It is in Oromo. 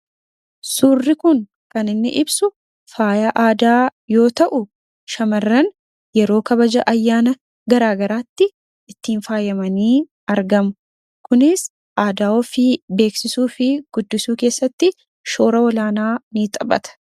Suurri Kun kan inni ibsu, faaya aadaa yoo ta'u, shamarran yeroo kabaja ayyaana garaagaraatti ittiin faayamanii argamu. Kunis aadaa ofii beeksisuu fi guddisuu keessatti shoora olaanaa ni taphatan.